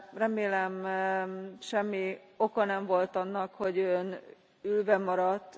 Remélem semmi oka nem volt annak, hogy Ön ülve maradt.